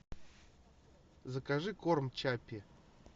закажи корм чаппи